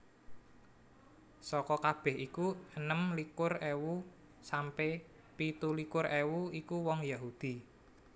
Saka kabeh iku enem likur ewu sampe pitu likur ewu iku wong Yahudi